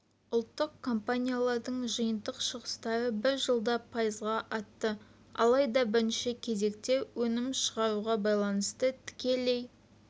ұлттық компаниялардың жиынтық шығыстары бір жылда пайызға артты алайда бірінші кезекте өнім шығаруға байланысты тікелей